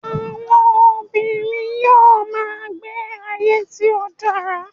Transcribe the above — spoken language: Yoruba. àwọn obìnrin yíò ma gbe igbe ayé tí o dara